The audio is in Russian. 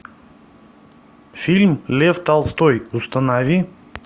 фильм лев толстой установи